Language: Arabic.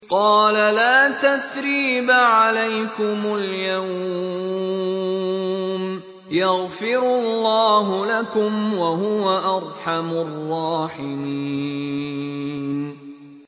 قَالَ لَا تَثْرِيبَ عَلَيْكُمُ الْيَوْمَ ۖ يَغْفِرُ اللَّهُ لَكُمْ ۖ وَهُوَ أَرْحَمُ الرَّاحِمِينَ